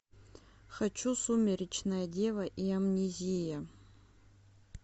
хочу сумеречная дева и амнезия